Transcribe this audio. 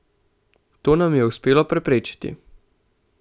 To nam je uspelo preprečiti.